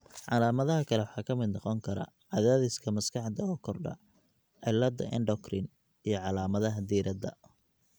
Calaamadaha kale waxaa ka mid noqon kara cadaadiska maskaxda oo kordha, cilladaha endocrine, iyo calaamadaha diiradda.